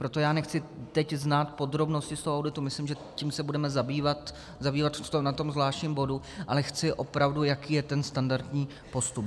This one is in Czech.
Proto já nechci teď znát podrobnosti z toho auditu, myslím, že tím se budeme zabývat na tom zvláštním bodu, ale chci opravdu, jaký je ten standardní postup.